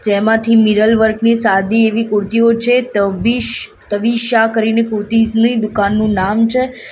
જેમાંથી mirror work ની સાદી એવી કુર્તીઓ છે તવિશ તવીશા કરીને કુર્તીઝની દુકાનનું નામ છે.